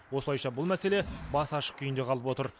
осылайша бұл мәселе басы ашық күйінде қалып отыр